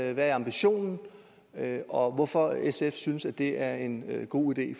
det hvad ambitionen er og hvorfor sf synes at det er en god idé